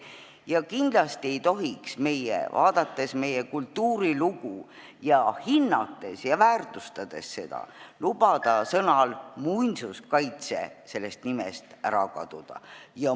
Me kindlasti ei tohiks, vaadates meie kultuurilugu ning hinnates ja väärtustades seda, lubada sõnal "muinsuskaitse" sellest nimest ära kaduda.